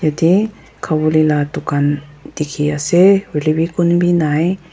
yete ghavolae la dukan diki ase hoilevi kun b nai.